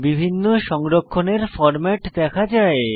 বিভিন্ন সংরক্ষণের ফরম্যাট দেখা যায়